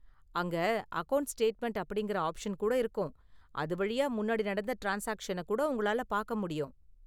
அங்க account statement அப்படிங்கற option கூட இருக்கும், அது வழியா முன்னாடி நடந்த ட்ரான்ஸ்சாக்சன கூட உங்களால பார்க்க முடியும்.